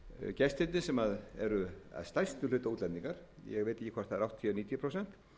gestirnir sem eru að stærstum hluta útlendingar ég veit ekki hvort það eru áttatíu eða níutíu prósent